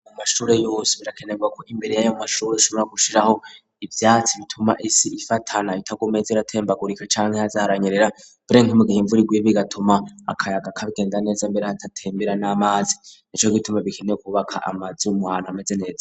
Mu mashure yose birakenerwako imbere yayo mu mashure ushobora gushiraho ivyatsi bituma isi ifatana itagumeye z'iratembagurika cane ntahaze haranyerera berena nk'omugihe imvura iguye bigatuma akayaga kagenda neza mbere hatatembera n'amazi nico gituma bikeneye kwubaka amazi wumuhantu ameze neza.